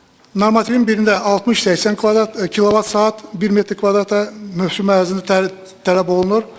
normativin birində 60-80 kilovat saat 1 metr kvadrata mövsüm ərzində tələb olunur.